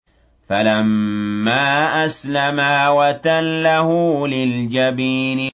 فَلَمَّا أَسْلَمَا وَتَلَّهُ لِلْجَبِينِ